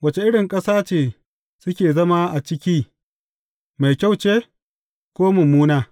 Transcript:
Wace irin ƙasa ce suke zama a ciki, Mai kyau ce, ko mummuna?